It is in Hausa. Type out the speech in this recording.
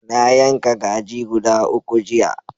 Na yanka kaji guda uku jiya.